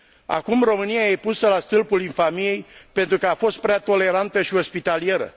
Acum România e pusă la stâlpul infamiei pentru ca a fost prea tolerantă și ospitalieră.